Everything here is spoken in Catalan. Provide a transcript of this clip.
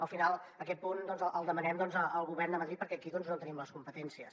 al final aquest punt el demanem al govern de madrid perquè aquí no en tenim les competències